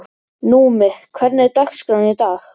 Númi, hvernig er dagskráin í dag?